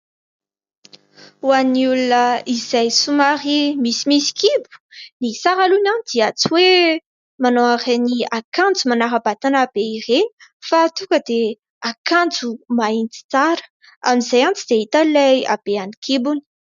Ho an'ny olona izay somary misimisy kibo, ny tsara aloha dia tsy hoe manao ireny akanjo manara-batana be ireny, fa tonga dia akanjo mahitsy tsara. Amin'izay tsy dia hita ilay haben'ny kibony.